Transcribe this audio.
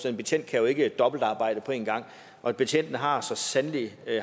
en betjent kan ikke dobbeltarbejde og betjentene har så sandelig